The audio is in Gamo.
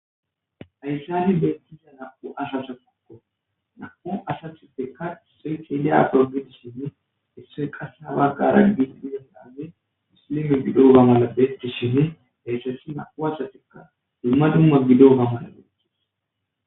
Ayssali beettiza naa7u ashasa pokko na7u asathippekka isoythiidiya porogidishinne issoy qase haba qaraggis duyondanne muslime gido uga mala bettishinne deyssasi na7u asatikka dumma dumma bido oga mala dotis.